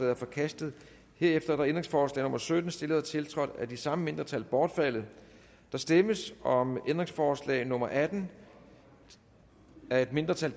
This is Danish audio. er forkastet herefter er ændringsforslag nummer sytten stillet og tiltrådt af de samme mindretal bortfaldet der stemmes om ændringsforslag nummer atten af et mindretal